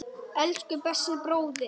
Elsku besti bróðir.